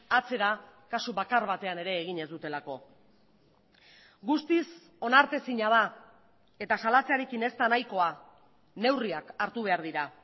atzera kasu bakar batean ere egin ez dutelako guztiz onartezina da eta salatzearekin ez da nahikoa neurriak hartu behar dira